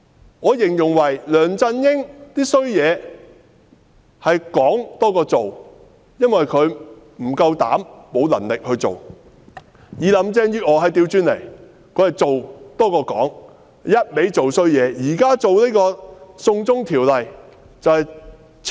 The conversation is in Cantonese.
我會這樣形容：梁振英的壞事，是說多於做，因為他不夠膽量，沒有能力做；而林鄭月娥則是做多於說，她只管做壞事。